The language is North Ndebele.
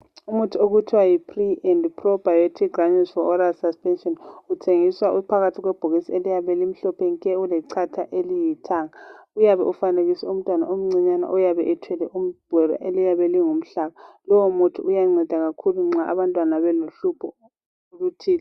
Umuthi okuthiwa yi. Pre And Pro Biotic Granules for Oral Suspension, Uthengiswa uphakathi kwebhokisi eliyabe limhlophe nke! Ulechatha elilithanga. Uyabe ufanekiswe umntwana omncinyane, oyabebethwele ibhola eliyabe lingumhlanga. Lowomuthi uyanceda kakhulu, nxa abantwana bayabe belohlupho oluthile.